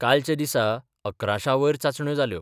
कालच्या दिसा अकराशांवयर चाचण्यो जाल्यो.